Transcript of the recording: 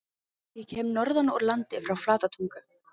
Ég kem norðan úr landi- frá Flatatungu.